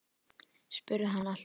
spurði hann allt í einu.